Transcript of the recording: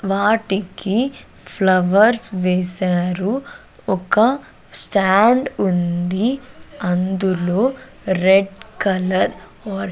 వాటికి ఫ్లవర్స్ వేశారు ఒక స్టాండ్ ఉంది అందులో రెడ్ కలర్ వర్--